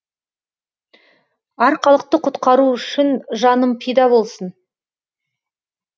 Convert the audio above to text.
арқалықты құтқару үшін жаным пида болсын